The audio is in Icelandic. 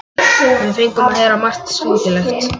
Við fengum að heyra margt skringilegt.